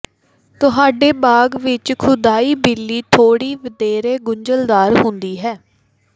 ਤੁਹਾਡੇ ਬਾਗ਼ ਵਿਚ ਖੁਦਾਈ ਬਿੱਲੀ ਥੋੜ੍ਹੀ ਵਧੇਰੇ ਗੁੰਝਲਦਾਰ ਹੁੰਦੀ ਹੈ